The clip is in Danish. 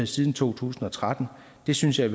siden to tusind og tretten det synes jeg